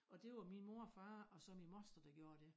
Og det var min mor og far og så min moster der gjorde dét